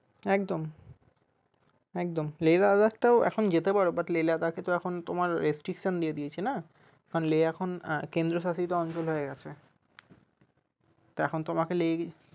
একদম একদম Leh Ladakh টাও এখন যেতে পারো but Leh Ladakh এ তো এখন restriction দিয়ে দিয়েছে না কারন Leh এখন কেন্দ্রশাসিত অঞ্চল হয়ে গেছে তো এখন তোমাকে leh